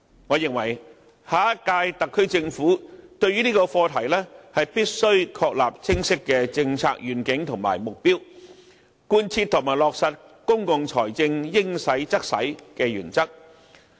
我認為下一屆特區政府須就這個課題確立清晰的政策願景和目標，貫徹和落實公共財政應花則花的原則。